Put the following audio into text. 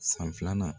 San filanan